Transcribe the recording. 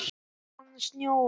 Svo fór að snjóa.